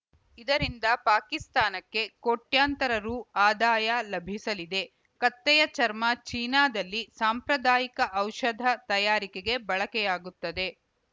ಇದರಿಂದ ಪಾಕಿಸ್ತಾನಕ್ಕೆ ಕೋಟ್ಯಂತರ ರು ಆದಾಯ ಲಭಿಸಲಿದೆ ಕತ್ತೆಯ ಚರ್ಮ ಚೀನಾದಲ್ಲಿ ಸಾಂಪ್ರದಾಯಿಕ ಔಷಧ ತಯಾರಿಕೆಗೆ ಬಳಕೆಯಾಗುತ್ತದೆ